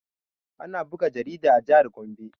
Ana buga jarida a jihar gombe